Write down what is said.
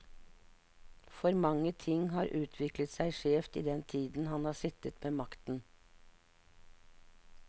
For mange ting har utviklet seg skjevt i den tiden han har sittet med makten.